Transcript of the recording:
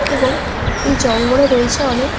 এবং এই জঙ্গলে রয়েছে অনেক--